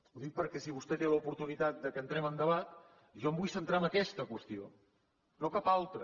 ho dic perquè si vostè té l’oportunitat que entrem en debat jo em vull centrar en aquesta qüestió no en cap altra